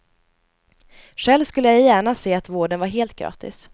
Själv skulle jag gärna se att vården var helt gratis.